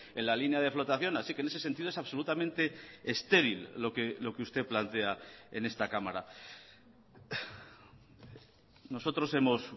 en la línea de flotación así que en ese sentido es absolutamente estéril lo que usted plantea en esta cámara nosotros hemos